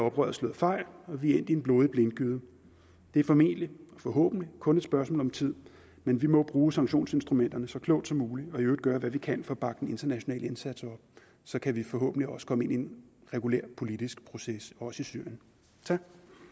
oprøret slået fejl og vi er endt i en blodig blindgyde det er formentlig og forhåbentlig kun et spørgsmål om tid men vi må bruge sanktionsinstrumenterne så klogt som muligt og i øvrigt gøre hvad vi kan for at bakke den internationale indsats op så kan vi forhåbentlig også komme ind i en regulær politisk proces også i syrien tak